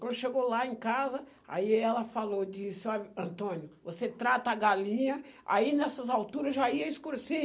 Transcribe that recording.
Quando chegou lá em casa, aí ela falou, disse, óh, Antônio, você trata a galinha, aí nessas alturas já ia escurecer.